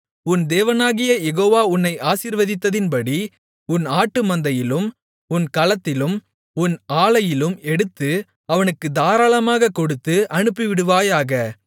உன் தேவனாகிய யெகோவா உன்னை ஆசீர்வதித்ததின்படி உன் ஆட்டுமந்தையிலும் உன் களத்திலும் உன் ஆலையிலும் எடுத்து அவனுக்குத் தாராளமாகக் கொடுத்து அனுப்பிவிடுவாயாக